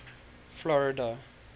florida